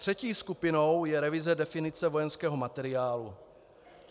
Třetí skupinou je revize definice vojenského materiálu.